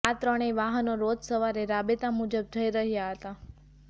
આ ત્રણેય વાહનો રોજ સવારે રાબેતા મુજબ જઈ રહ્યા હતા